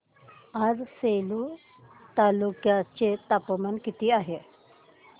आज सेलू तालुक्या चे तापमान किती आहे